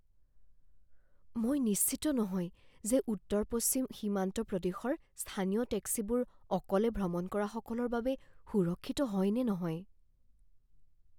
মই নিশ্চিত নহয় যে উত্তৰ পশ্চিম সীমান্ত প্ৰদেশৰ স্থানীয় টেক্সিবোৰ অকলে ভ্ৰমণ কৰাসকলৰ বাবে সুৰক্ষিত হয় নে নহয়।